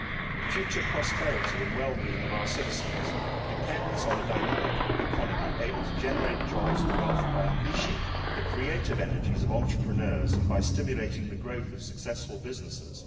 The future prosperity and well being of our citizens depend on a dynamic economy able to generate jobs and wealth by unleashing the creative energies of entrepreneurs and by stimulating the growth of successful businesses.